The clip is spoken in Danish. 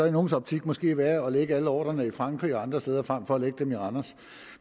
i nogles optik måske være at lægge alle ordrer i frankrig og andre steder frem for at lægge dem i randers